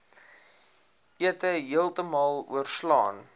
ete heeltemal oorslaan